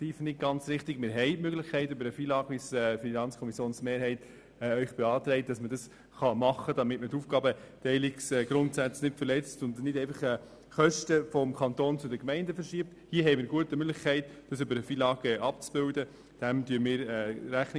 Die Kosten für den Versand übernehmen die Gemeinden, und der Kanton erstattet ihnen die Portokosten zurück.